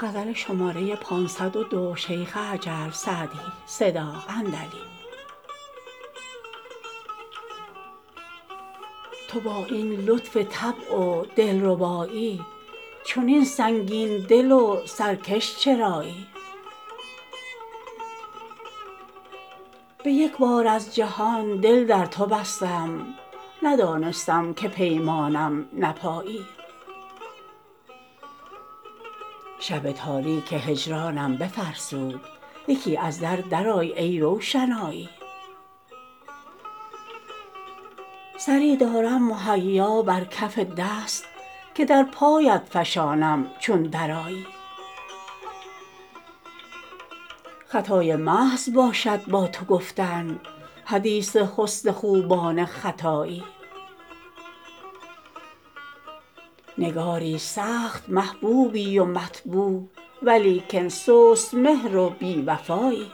تو با این لطف طبع و دل ربایی چنین سنگین دل و سرکش چرایی به یک بار از جهان دل در تو بستم ندانستم که پیمانم نپایی شب تاریک هجرانم بفرسود یکی از در درآی ای روشنایی سری دارم مهیا بر کف دست که در پایت فشانم چون درآیی خطای محض باشد با تو گفتن حدیث حسن خوبان ختایی نگاری سخت محبوبی و مطبوع ولیکن سست مهر و بی وفایی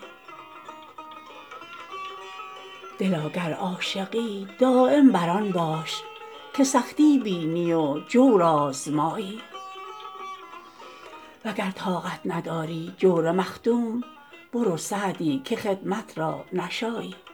دلا گر عاشقی دایم بر آن باش که سختی بینی و جور آزمایی و گر طاقت نداری جور مخدوم برو سعدی که خدمت را نشایی